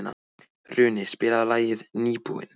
Runi, spilaðu lagið „Nýbúinn“.